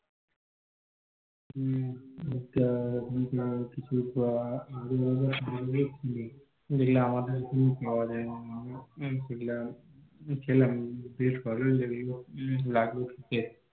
হম আচ্ছা আর কিছু খাবার আলাদা রকমের ছিলো যেগুলো আমাদের এখানে পাওয়া যায়না সেগুলো খেলাম, বেশ ভালোই লাগলো খেতে